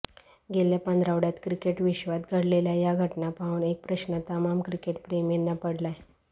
गेल्या पंधरवाड्यात क्रिकेटविश्वात घडलेल्या या घटना पाहून एक प्रश्न तमाम क्रिकेटप्रेमींना पडलाय